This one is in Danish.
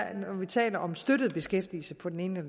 tale om støttet beskæftigelse på den ene